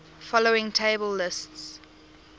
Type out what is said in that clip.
following table lists